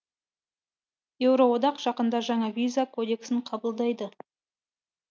еуроодақ жақында жаңа виза кодексін қабылдайды